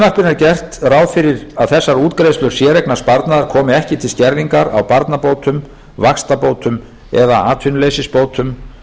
frumvarpinu er gert ráð fyrir að þessar útgreiðslur séreignarsparnaðar komi ekki til skerðingar á barnabótum vaxtabótum eða atvinnuleysisbótum